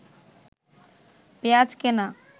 পেঁয়াজ কেনা